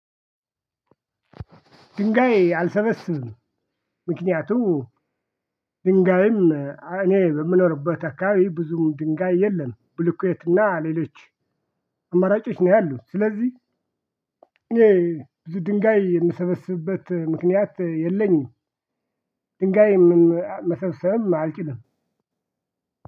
ድንጋይ አልሰበስብም። ምክንያቱም ድንጋይም እኔ በምኖርበት አካባቢ ብዙም ድንጋይ የለም ብልኩዌትና ሌሎች አማራጮች ነው ያሉት ስለዚህ የዚህ ድንጋይ የምሰበስብበት ምክንያት የለኝም። ድንጋይ መሰብሰብም አልችልም።